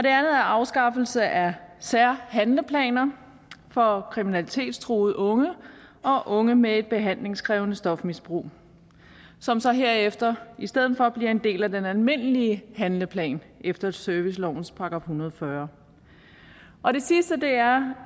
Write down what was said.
er afskaffelse af særhandleplaner for kriminalitetstruede unge og unge med behandlingskrævende stofmisbrug som så herefter i stedet for bliver en del af den almindelige handleplan efter servicelovens § en hundrede og fyrre og det sidste er